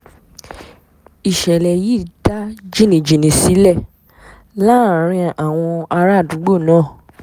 ìṣẹ̀lẹ̀ yìí dá jìnnìjìnnì sílẹ̀ láàrin àwọn àràádúgbò náà